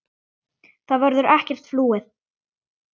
Það verður ekkert flúið.